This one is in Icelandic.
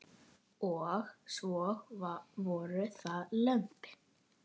Og svo voru það lömbin.